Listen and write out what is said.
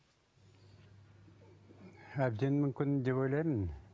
әбден мүмкін деп ойлаймын